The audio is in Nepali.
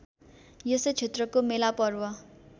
यसै क्षेत्रको मेलापर्व